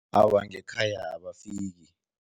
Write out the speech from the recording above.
Awa, ngekhaya abafiki.